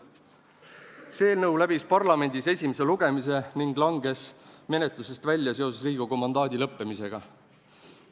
" See eelnõu läbis parlamendis esimese lugemise ning langes menetlusest välja seoses Riigikogu mandaadi lõppemisega.